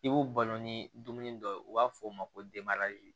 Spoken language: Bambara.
I b'u balo ni dumuni dɔ ye u b'a fɔ o ma ko